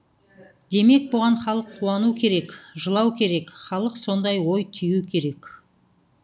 демек бұған халық қуану керек жылау керек халық сондай ой түю керек